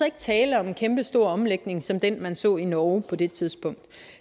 ikke tale om en kæmpestor omlægning som den man så i norge på det tidspunkt